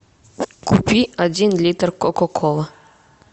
купи один литр кока колы